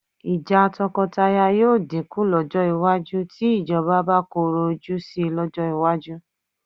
Ìjà tọkọtaya yóò dínkù lọ́jọ́ iwájú tí ìjọba bá korò ojú sí lọ́jọ́ iwájú